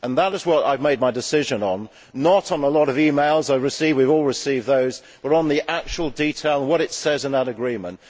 That is what I have made my decision on, not on a lot of e mails I have received we have all received those but on the actual detail and what it says in that Agreement.